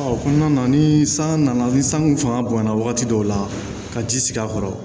o kɔnɔna na ni san nana ni sanko fanga bonyana wagati dɔw la ka ji sigi a kɔrɔ